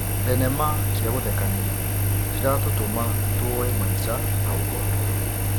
Thenema cia gũthekania ciratũtũma tuoye maica na ũhũthũ.